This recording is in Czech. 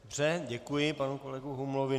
Dobře, děkuji panu kolegu Humlovi.